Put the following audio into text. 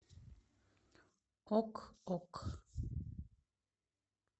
ок ок